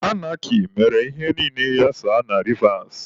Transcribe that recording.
Anarkị mere ihe niile ghasaa na Rivas.